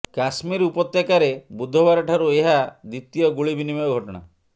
କାଶ୍ମୀର ଉପତ୍ୟକାରେ ବୁଧବାରଠାରୁ ଏହା ଦ୍ୱିତୀୟ ଗୁଳି ବିନିମୟ ଘଟଣା